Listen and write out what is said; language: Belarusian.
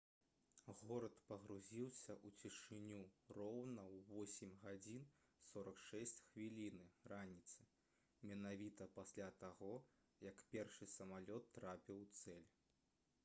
горад пагрузіўся ў цішыню роўна ў 8:46 раніцы менавіта пасля таго як першы самалёт трапіў у цэль